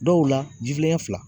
Dɔw la jifilen ɲɛ fila.